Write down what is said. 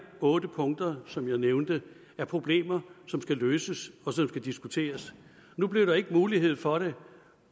otte punkter som jeg nævnte er problemer som skal løses og som skal diskuteres nu blev der ikke mulighed for det